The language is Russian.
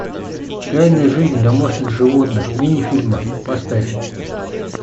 тайная жизнь домашних животных мини фильмы поставь